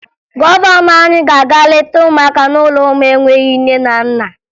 Gọvanọ anyị ga-aga leta ụmụaka n'ụlọ ụmụ enweghi nne na nna